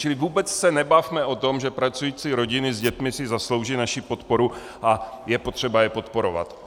Čili vůbec se nebavme o tom, že pracující rodiny s dětmi si zaslouží naši podporu a je potřeba je podporovat.